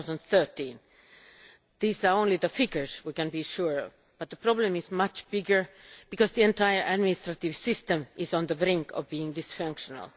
2013. These are only the figures we can be sure about, but the problem is much greater because the entire administrative system is on the brink of becoming dysfunctional.